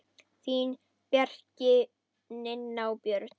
Þín, Bjarki, Nanna og Björn.